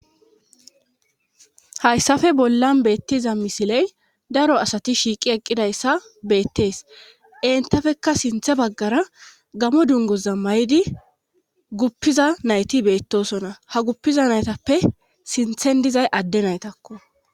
hayssafe bollan beettiza misiley daro asati shiiqi eqqidayssa beettees entafekka sinthe baggara gamo dungoza may7di guppiza nayti beettosona ha guppiza naytappe sinthen dizay adde naytakko